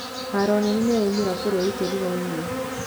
Haro nene nĩyaumĩra bũrũri tũrigainie.